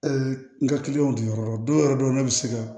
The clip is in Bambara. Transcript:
n ka kiliyanw diyan yɔrɔ don yɔrɔ dɔw bɛ se ka